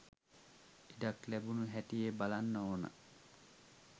ඉඩක් ලැබුණු හැටියේ බලන්න ඕන.